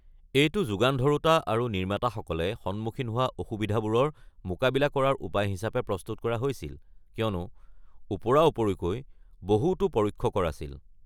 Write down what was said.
এইটো যোগান ধৰোঁতা আৰু নিৰ্মাতাসকলে সন্মুখীন হোৱা অসুবিধাবোৰৰ মোকাবিলা কৰাৰ উপায় হিচাপে প্ৰস্তুত কৰা হৈছিল কিয়নো ওপৰা-উপৰিকৈ বহুতো পৰোক্ষ কৰ আছিল।